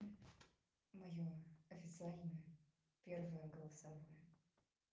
моё официальное первое голосовое